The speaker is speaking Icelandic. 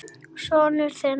Sonur þinn.